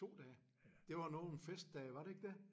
2 dage? Det var nogle festdage var det ikke det?